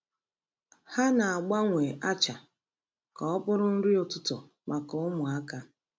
Ha na-agbanwe acha ka ọ bụrụ nri ụtụtụ maka ụmụaka.